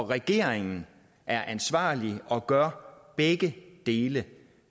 regeringen er ansvarlig og gør begge dele